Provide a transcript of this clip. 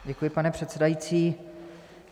Děkuji, pane předsedající.